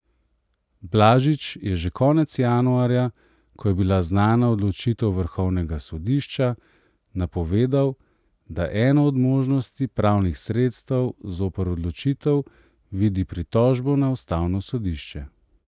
Blažič je že konec januarja, ko je bila znana odločitev vrhovnega sodišča, napovedal, da eno od možnosti pravnih sredstev zoper odločitev vidi pritožbo na ustavno sodišče.